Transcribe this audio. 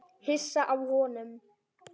Hissa á honum.